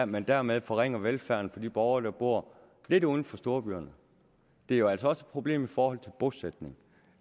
man dermed forringer velfærden for de borgere der bor lidt uden for storbyerne det er jo altså også et problem i forhold til bosætning